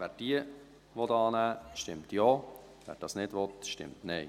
Wer diese annehmen will, stimmt Ja, wer dies nicht will, stimmt Nein.